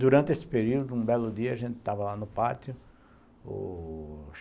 Durante esse período, um belo dia, a gente estava lá no pátio, ô